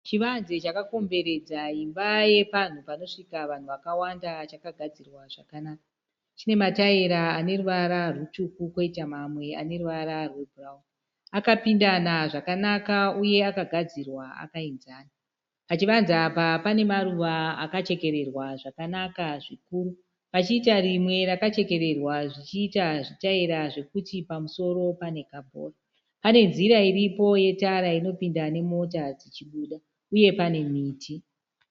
Chivanze chakakomberedza imba yepanhu panosvika vanhu vakawanda chakagadzirwa zvakanaka. Chine matayira ane ruvara rutsvuku poita mamwe ane ruvara rwebhurawuni. Akapindana zvakanaka uye akagadzirwa akayinzana. Pachivanze apa pane maruva akachekererwa zvakanaka zvikuru. Pachiita rimwe rakachekererwa zvichiita zvitayira zvekuti pamusoro pane kabhora. Pane nzira iripo yetara inopinda nemota dzichibuda uye pane miti.